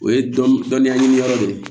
O ye dɔnniya ɲini yɔrɔ de ye